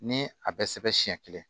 Ni a bɛɛ sɛbɛn siɲɛ kelen